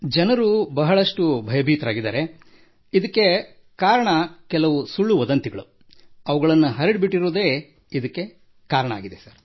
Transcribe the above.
ಜನರು ಬಹಳಷ್ಟು ಭಯಭೀತರಾಗಿದ್ದಾರೆ ಎನ್ನುವುದಕ್ಕೆ ಕಾರಣ ಕೆಲವು ಸುಳ್ಳು ವದಂತಿಯನ್ನು ಹರಡಿ ಬಿಟ್ಟಿರುವುದೇ ಆಗಿದೆ ಸರ್